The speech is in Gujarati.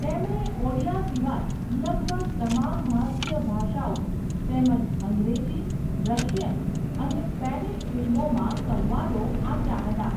તેમણે ઓડિયા સિવાય લગભગ તમામ ભારતીય ભાષાઓ તેમજ અંગ્રેજી, રશિયન અને સ્પેનિશ ફિલ્મોમાં સંવાદો આપ્યા હતા.